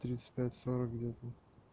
тридцать пять сорок где-то